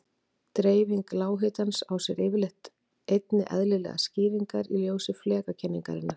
Dreifing lághitans á sér yfirleitt einnig eðlilegar skýringar í ljósi flekakenningarinnar.